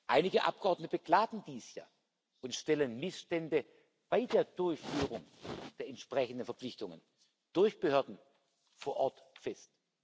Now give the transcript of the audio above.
Einige Abgeordnete beklagen dies ja und stellen Missstände bei der Durchführung der entsprechenden Verpflichtungen durch Behörden vor Ort fest.